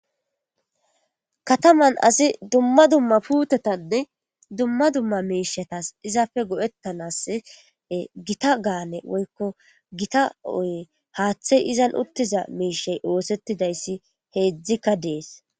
Kataman asi dumma dumma puuteta dumma dumma miishetasi izappe go7ettanasi gita gaale woykko gita haathey izan uttiza miishey oothetizayssi heedzdzikka de7eesi.